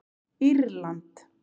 Írland